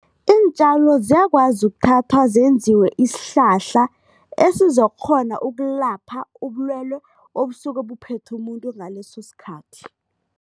Iintjalo ziyakwazi ukuthatha zenziwe isihlahla esizokukghona ukulapha ubulwelwe obusuke buphethe umuntu ngaleso sikhathi.